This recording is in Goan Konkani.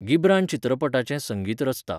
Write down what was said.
घिब्रान चित्रपटाचें संगीत रचता.